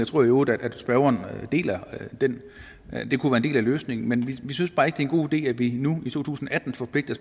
tror i øvrigt at spørgeren deler at det kunne være en del af løsningen men vi synes bare ikke en god idé at vi nu i to tusind og atten forpligter